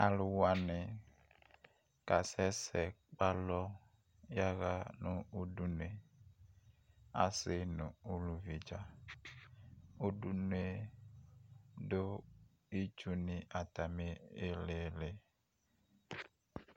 Alu wane ka sɛsɛ kpe alɔ yaga no udunue, ase ne no uluvi dza Udunue do itsu ne atane ilili